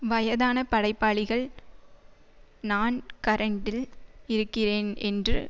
வயதான படைப்பாளிகள் நான் கரெண்டில் இருக்கிறேன் என்று